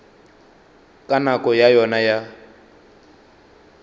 ka nako ya yona ya